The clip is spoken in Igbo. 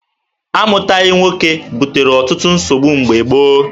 Amụghị nwoke butere ọtụtụ nsogbu mgbe gboo.